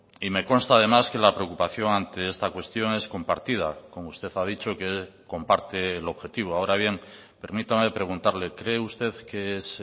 y me consta además que la preocupación ante esta cuestión es compartida como usted ha dicho que comparte el objetivo ahora bien permítame preguntarle cree usted que es